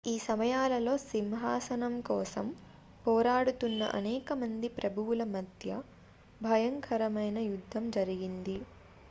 ఈ సమయాలలో సింహాసనం కోసం పోరాడుతున్న అనేక మంది ప్రభువుల మధ్య బయ్యంకరమైన యుద్ధం జరిగింది